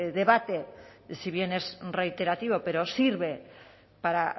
debate si bien es reiterativo pero sirve para